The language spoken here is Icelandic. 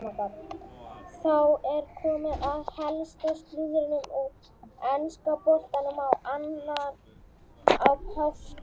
Þá er komið að helsta slúðrinu úr enska boltanum á annan í páskum.